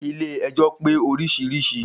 Ilé ẹjọ́ pé orísirísi.